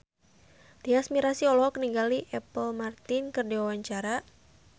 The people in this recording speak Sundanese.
Tyas Mirasih olohok ningali Apple Martin keur diwawancara